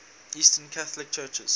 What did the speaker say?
eastern catholic churches